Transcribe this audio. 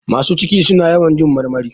Masu ciki suna yawan jin marmari.